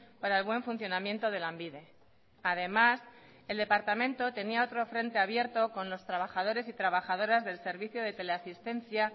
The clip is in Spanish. para el buen funcionamiento de lanbide además el departamento tenía otro frente abierto con los trabajadores y trabajadoras del servicio de teleasistencia